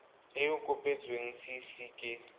e e kopetsweng cc ke